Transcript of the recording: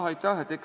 Aitäh!